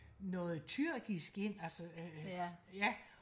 noget tyrkisk ind altså ja